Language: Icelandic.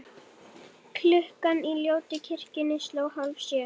Klukkan í ljótu kirkjunni sló hálfsjö.